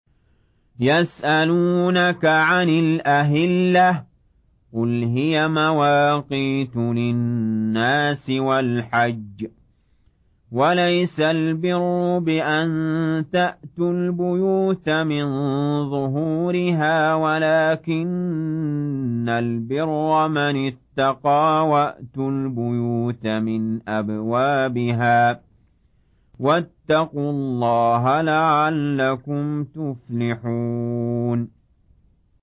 ۞ يَسْأَلُونَكَ عَنِ الْأَهِلَّةِ ۖ قُلْ هِيَ مَوَاقِيتُ لِلنَّاسِ وَالْحَجِّ ۗ وَلَيْسَ الْبِرُّ بِأَن تَأْتُوا الْبُيُوتَ مِن ظُهُورِهَا وَلَٰكِنَّ الْبِرَّ مَنِ اتَّقَىٰ ۗ وَأْتُوا الْبُيُوتَ مِنْ أَبْوَابِهَا ۚ وَاتَّقُوا اللَّهَ لَعَلَّكُمْ تُفْلِحُونَ